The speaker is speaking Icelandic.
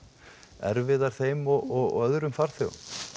erfiðar þeim og öðrum farþegum